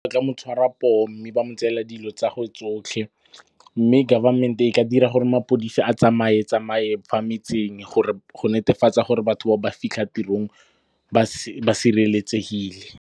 Ba tla mo tshwara poo mme ba mo tseela dilo tsa ge tsotlhe. Mme government-e e ka dira gore mapodisi a tsamaye tsamaye fa metseng go netefatsa gore batho ba fitlha tirong ba sireletsegile.